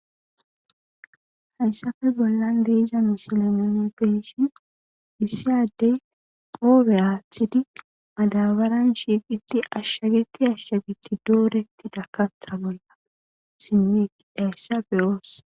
Hayssape bollan de7iza mislen nuuni be7ishin issi addee qoophe aaththidi madaabaren ashshageththi ashshageththi dooreththida kaththa bolla simmi eqqiza isa be7oos.